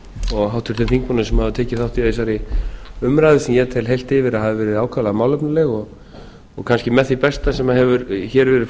og háttvirtum þingmönnum sem hafa tekið þátt í þessari umræðu sem ég tel heilt yfir að hafi verið ákaflega málefnaleg og kannski með því besta sem hefur hér verið